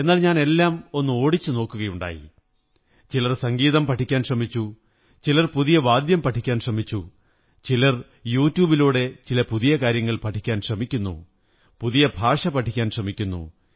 എന്നാൽ ഞാൻ എല്ലാം ഒന്നോടിച്ചു നോക്കുകയുണ്ടായി ചിലർ സംഗീതം പഠിക്കാൻ ശ്രമിച്ചു ചിലർ പുതിയ വാദ്യം പഠിക്കാൻ ശ്രമിച്ചു ചിലർ യു ട്യൂബിലുടെ ചില പുതിയ കാര്യങ്ങൾ പഠിക്കാൻ ശ്രമിക്കുന്നു പുതിയ ഭാഷ പഠിക്കാൻ ശ്രമിക്കുന്നു